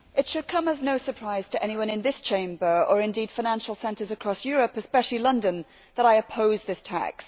Mr President, it should come as no surprise to anyone in this Chamber or indeed financial centres across Europe, especially London, that I oppose this tax.